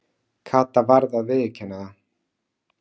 Kata varð að viðurkenna það.